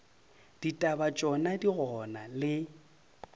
ditaba tšona di gona le